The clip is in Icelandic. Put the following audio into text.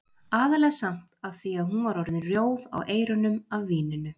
Aðallega samt af því að hún var orðin rjóð á eyrunum af víninu.